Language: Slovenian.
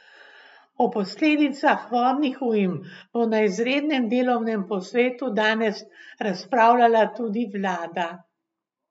O posledicah vodnih ujm bo na izrednem delovnem posvetu danes razpravljala tudi vlada.